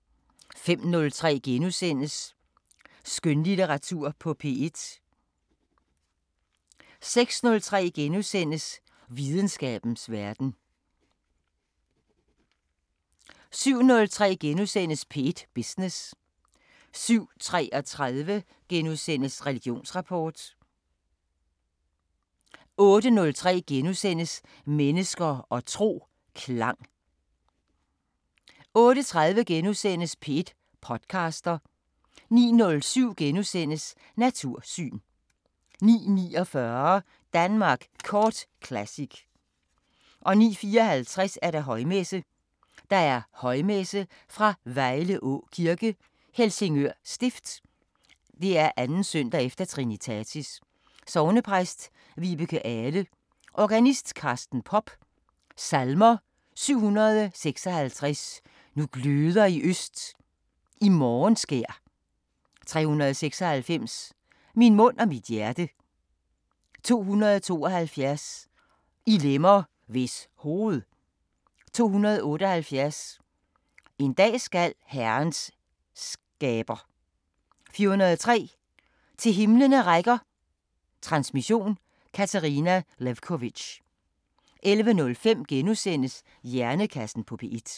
05:03: Skønlitteratur på P1 * 06:03: Videnskabens Verden * 07:03: P1 Business * 07:33: Religionsrapport * 08:03: Mennesker og tro: Klang * 08:30: P1 podcaster * 09:07: Natursyn * 09:49: Danmark Kort Classic 09:54: Højmesse - Højmesse fra Vejleå Kirke, Helsingør Stift. 2. søndag efterTrinitatis. Sognepræst: Vibeke Ahle. Organist: Carsten Popp. Salmer: 756: Nu gløder øst i morgenskær 396: Min mund og mit hjerte 272: I lemmer, hvis hoved 278: En dag skal Herrens skaber 403: Til himlene rækker Transmission: Katarina Lewkovitch. 11:05: Hjernekassen på P1 *